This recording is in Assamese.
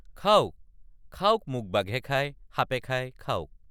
খাওক খাওক মোক বাঘে খায় সাপে খায় খাওক।